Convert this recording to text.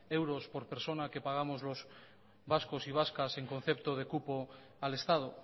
euros por persona que pagamos los vascos y vascas en concepto de cupo al estado